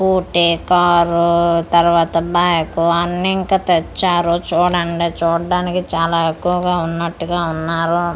Scooty car తరవాత bike అన్ని ఇంకా తెచ్చారు చూడండి చూడానికి చాలా ఎక్కువగా ఉన్నటుగా ఉన్నారు.